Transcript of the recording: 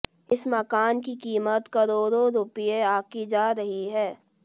इस मकान की कीमत करोड़ों रुपये आंकी जा रही है